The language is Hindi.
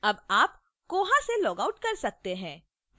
अब आप koha से लॉगआउट कर सकते हैं